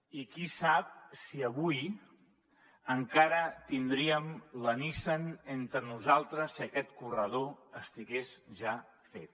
i qui sap si avui encara tindríem la nissan entre nosaltres si aquest corredor estigués ja fet